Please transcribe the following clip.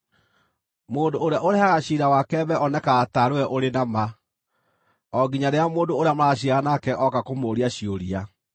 Mũndũ ũrĩa ũrehaga ciira wake mbere onekaga taarĩ we na ma, o nginya rĩrĩa mũndũ ũrĩa maraciira nake ooka kũmũũria ciũria.